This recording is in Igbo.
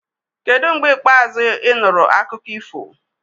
Kedu mgbe ikpeazụ ị nụrụ akụkọ ifo?